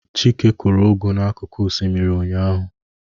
Chike kụrụ ugu n'akụkụ osimiri ụnyahụ